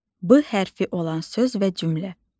B hərfi olan söz və cümlə.